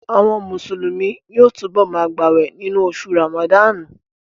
Àwọn Mùsùlùmí yóò túbọ̀ ma gbàwè nínú oṣù Ràmàdánù